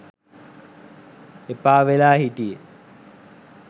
එපා වෙලා හිටියෙ.